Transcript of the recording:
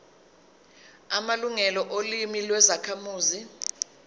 amalungelo olimi lwezakhamuzi